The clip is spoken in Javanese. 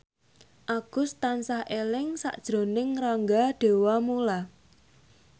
Agus tansah eling sakjroning Rangga Dewamoela